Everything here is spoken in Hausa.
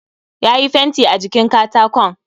Yayi fenti a jikin katakon